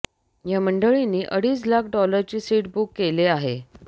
या मंडळींनी अडीच लाख डॉलरचे सीट बुक केले आहे